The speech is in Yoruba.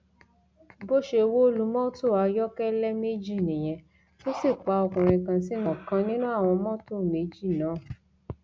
bó ṣe wó lu mọtò ayọkẹlẹ méjì nìyẹn tó sì pa ọkùnrin kan sínú ọkan nínú àwọn mọtò méjì náà